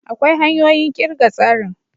Akwai hanyoyin kirga tsarin.